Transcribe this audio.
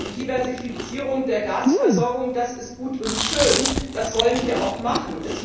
sein. Diversifizierung der Gasversorgung das ist gut und schön, das sollen wir auch machen.